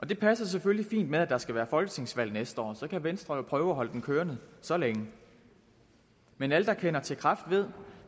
det passer selvfølgelig fint med at der skal være folketingsvalg næste år så kan venstre jo prøve at holde den kørende så længe men alle der kender til kræft ved